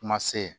Kuma se